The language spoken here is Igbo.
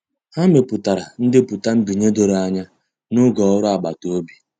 Ha mepụtara ndepụta nbinye doro anya n'oge ọrụ agbata obi.